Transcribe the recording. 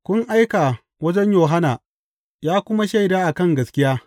Kun aika wajen Yohanna ya kuma yi shaida a kan gaskiya.